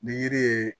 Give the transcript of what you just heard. Ni yiri ye